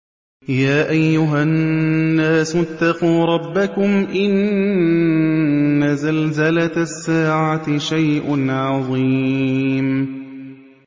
يَا أَيُّهَا النَّاسُ اتَّقُوا رَبَّكُمْ ۚ إِنَّ زَلْزَلَةَ السَّاعَةِ شَيْءٌ عَظِيمٌ